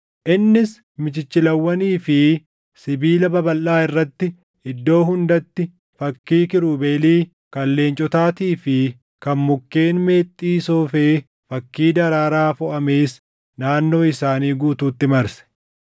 Innis michichilawwanii fi sibiila babalʼaa irratti iddoo hundatti fakkii kiirubeelii, kan leencotaatii fi kan mukkeen meexxii soofee fakkii daraaraa foʼamees naannoo isaanii guutuutti marse.